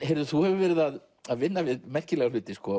þú hefur verið að að vinna við merkilega hluti